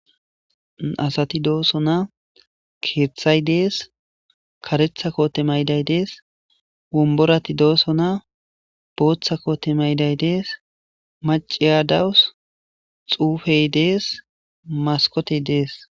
asati dooso na keeththay dees karetha koote mayday dees womborati dooso na booththa koote mayday dees maciya dawus xuufey dees maskotey dees